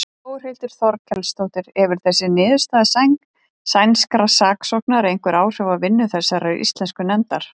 Þórhildur Þorkelsdóttir: Hefur þessi niðurstaða sænskra saksóknara einhver áhrif á vinnu þessarar íslensku nefndar?